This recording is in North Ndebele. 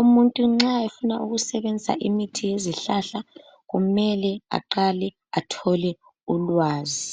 Umuntu nxa efuna kusebenzisa imithi yezihlahla kumele aqale etholwe ulwazi.